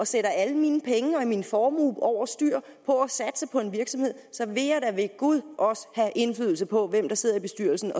sætte alle mine penge og min formue over styr på at satse på en virksomhed vil jeg da ved gud også have indflydelse på hvem der sidder i bestyrelsen